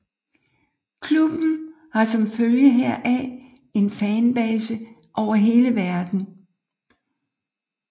Klubben har som følge heraf en fanbase over hele verden